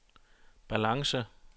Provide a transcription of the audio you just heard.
balance